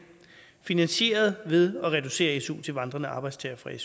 finansieret ved at reducere su til vandrende arbejdstagere fra